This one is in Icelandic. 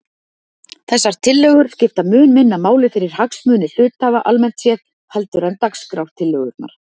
Þessar tillögur skipta mun minna máli fyrir hagsmuni hluthafa almennt séð heldur en dagskrártillögurnar.